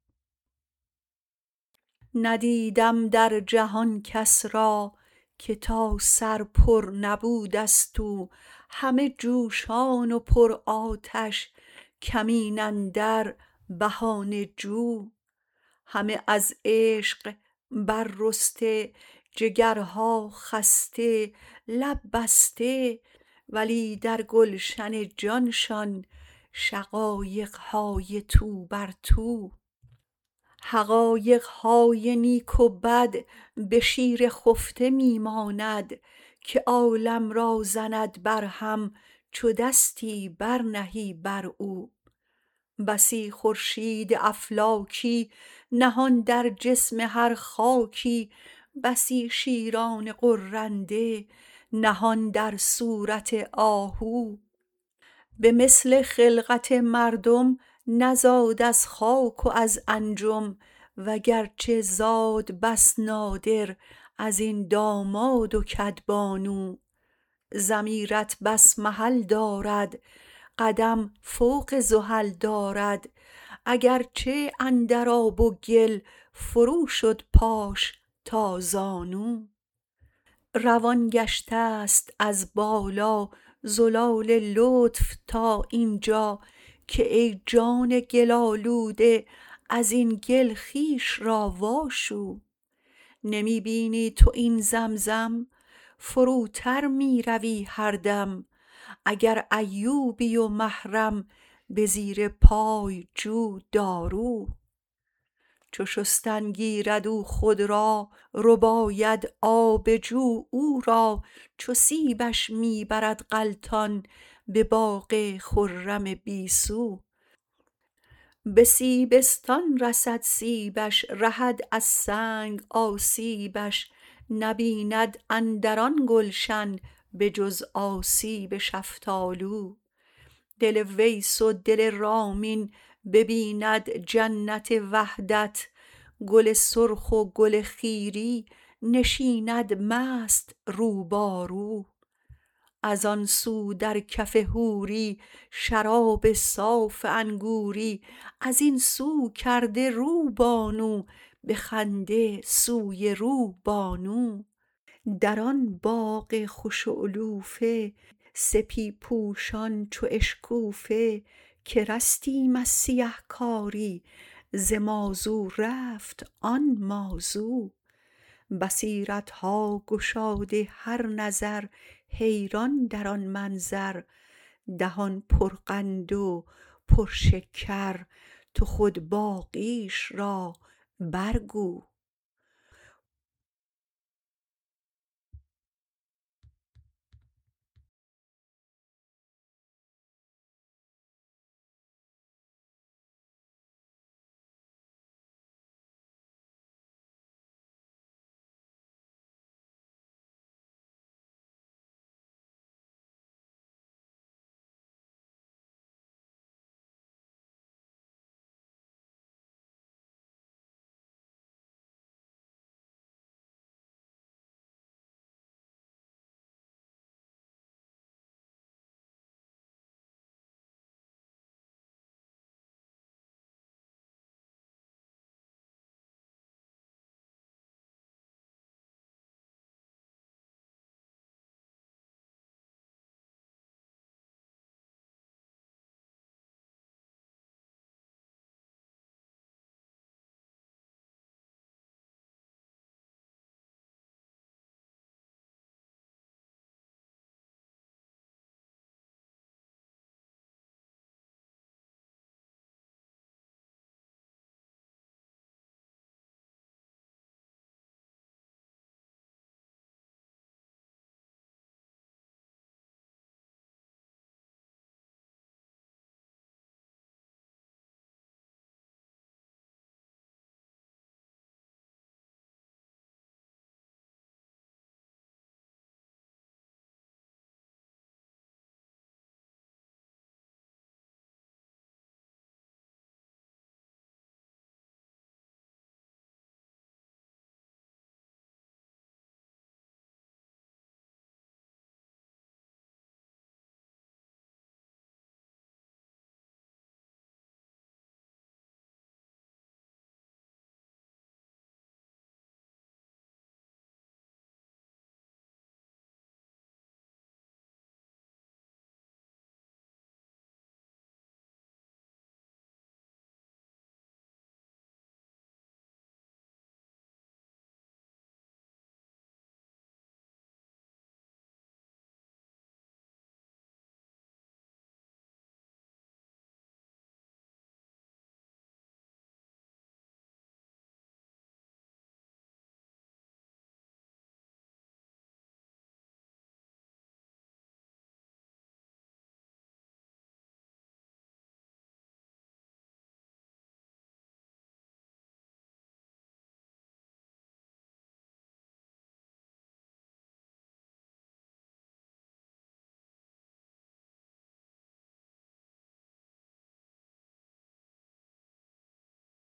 ندیدم در جهان کس را که تا سر پر نبوده ست او همه جوشان و پرآتش کمین اندر بهانه جو همه از عشق بررسته جگرها خسته لب بسته ولی در گلشن جانشان شقایق های تو بر تو حقایق های نیک و بد به شیر خفته می ماند که عالم را زند برهم چو دستی برنهی بر او بسی خورشید افلاکی نهان در جسم هر خاکی بسی شیران غرنده نهان در صورت آهو به مثل خلقت مردم نزاد از خاک و از انجم وگرچه زاد بس نادر از این داماد و کدبانو ضمیرت بس محل دارد قدم فوق زحل دارد اگرچه اندر آب و گل فروشد پاش تا زانو روان گشته ست از بالا زلال لطف تا این جا که ای جان گل آلوده از این گل خویش را واشو نمی بینی تو این زمزم فروتر می روی هر دم اگر ایوبی و محرم به زیر پای جو دارو چو شستن گیرد او خود را رباید آب جو او را چو سیبش می برد غلطان به باغ خرم بی سو به سیبستان رسد سیبش رهد از سنگ آسیبش نبیند اندر آن گلشن به جز آسیب شفتالو دل ویس و دل رامین ببیند جنت وحدت گل سرخ و گل خیری نشیند مست رو با رو از آن سو در کف حوری شراب صاف انگوری از این سو کرده رو بانو به خنده سوی روبانو در آن باغ خوش اعلوفه سپی پوشان چو اشکوفه که رستیم از سیه کاری ز مازو رفت آن ما زو بصیرت ها گشاده هر نظر حیران در آن منظر دهان پرقند و پرشکر تو خود باقیش را برگو